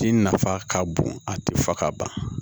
Ji nafa ka bon a ti fa ka ban